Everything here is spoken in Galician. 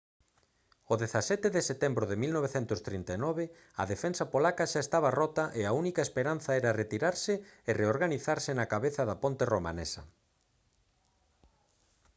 o 17 de setembro de 1939 a defensa polaca xa estaba rota e a única esperanza era retirarse e reorganizarse na cabeza da ponte romanesa